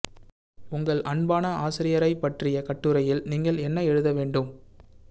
உங்கள் அன்பான ஆசிரியரைப் பற்றிய கட்டுரையில் நீங்கள் என்ன எழுத வேண்டும்